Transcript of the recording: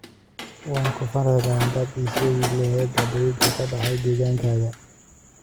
Waan ku farxi lahaa haddii aad ii sheegi lahayd dhacdooyinka ka dhacaya deegaankayaga